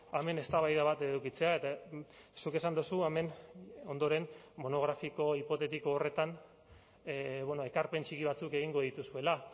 hemen eztabaida bat edukitzea eta zuk esan duzu hemen ondoren monografiko hipotetiko horretan ekarpen txiki batzuk egingo dituzuela